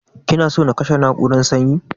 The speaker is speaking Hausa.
Kina so na kashe na'urar sanyin.